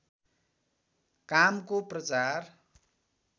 कामको प्रचार